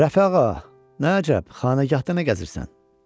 “Rəfi ağa, nə əcəb xanəgahda nə gəzirsən?”